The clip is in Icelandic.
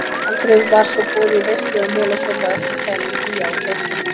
Aldrei var svo boðið í veislu eða molasopa að ekki kæmu Fía og Tóti.